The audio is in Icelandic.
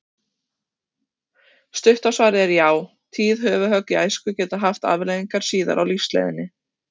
Stutta svarið er já, tíð höfuðhögg í æsku geta haft afleiðingar síðar á lífsleiðinni.